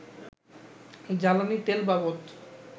জ্বালানি তেলবাবদ